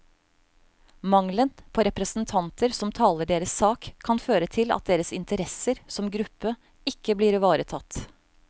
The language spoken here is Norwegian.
Mangelen på representanter som taler deres sak, kan føre til at deres interesser som gruppe ikke blir ivaretatt.